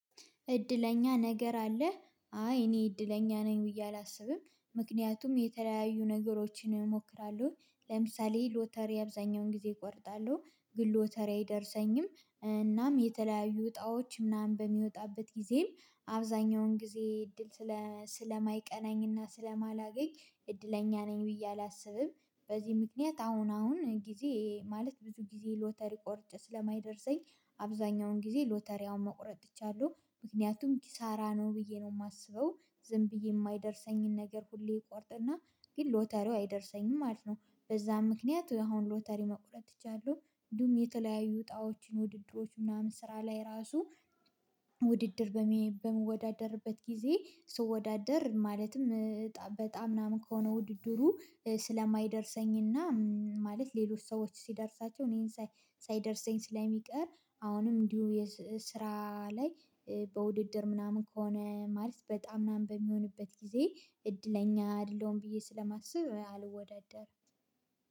እድለኛ ነገር አለ አይ እኔ እድለኛ ነኝ ብዬ አላስብም። ምክንያቱም የተለያዩ ነገሮችን እሞክራለሁ ለምሳሌ ሎተሪ አብዛኛውን ጊዜ እቆርጣለሁ ግን ሎተሪ አይደርሰኝም እናም የተለያዩ እጣዎች ምናምን በሚወጣበት ጊዜም አብዛኛውን ጊዜ እድል ስለ ስለማይቀናኝና ስለማላገኝ እድለኛ ነኝ ብዬ አላስብም። በዚህ ምክንያት አሁን አሁን ጊዜ ማለት ብዙ ጊዜ ሎተሪ ቆርጬ ስለማይደርሰኝ አብዛኛውን ጊዜ ሎተሪ አሁን መቁረጥ ትቻለሁ ምክንያቱም ኪሳራ ነው ብዬ ነው የማስበው። ዝም ብዬ የማይደርሰኝን ነገር ሁሌ እቆርጥና ግን ሎተሪው አይደርሰኝም ማለት ነው። በዛ ምክንያት አሁን ሎተሪ መቁረጥ እችላለሁ። እንዲሁም የተለያዩ እጣኦችን ውድድሮች ምናምን ስራ ላይ ራሱ ውድድር በምንወዳደርበት ጊዜ ስወዳደር ማለትም በጣም ምናምን ከሆነ ውድድሩ ስለማይደርሰኝና ማለት ሌሎች ሰዎች ሲደርሳቸው እኔን ሳይደርሰኝ ስለሚቀር አሁንም እንዲሁ የስራ ላይ በውድድር ምናምን ከሆነ ማለት በጣም ምናምን በሚሆንበት ጊዜ እድለኛ አይደለሁም ብዬ ስለማስብ አልወዳደርም